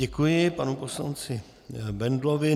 Děkuji panu poslanci Bendlovi.